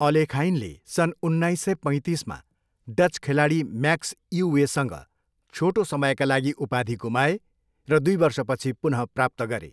अलेखाइनले सन् उन्नाइस सय पैतिसमा डच खेलाडी म्याक्स इउवेसँग छोटो समयका लागि उपाधि गुमाए र दुई वर्षपछि पुनः प्राप्त गरे।